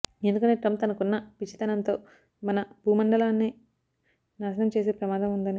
ఎందుకంటే ట్రంప్ తనకున్న పిచ్చితనంతో మన భూమండలాన్నే నాశనం చేసే ప్రమాదం ఉందని